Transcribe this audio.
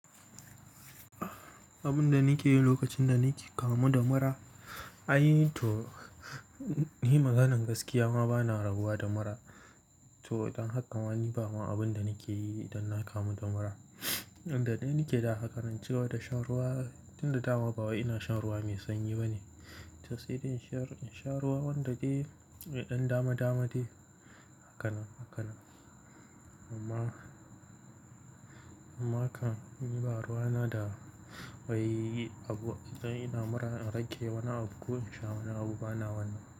Abun da nake yi lokacin da nake kamu da mura? Ai to ni maganan gaskiya ma bana rabuwa da mura. To don haka ma ni bama abun da nake yi idan na kamu da mura. Yanda dai nake da haka, zan ci gaba da shan ruwa. Tunda dama bawai ina shan ruwa mai sanyi ba ne. Tosai dai in sha ruwa wanda dai mai ɗan dama dama dai, haka nan. Amma kam ni ba ruwa na da wai abu ina mura na rage wani abu, ko in sha wani abu bana wannan.